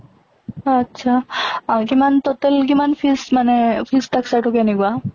আত্চ্ছা আ কিমান total কিমান fees মানে fees structure টো কেনেকুৱা?